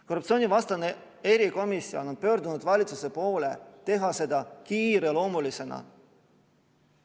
Korruptsioonivastane erikomisjon on pöördunud valitsuse poole teha seda kiireloomulisena.